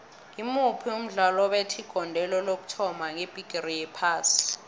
ngimuphi umdlali owabetha igondelo lokuthoma ngebhigiri yephasi